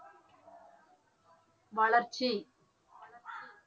வளர்ச்சி